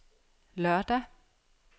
lørdag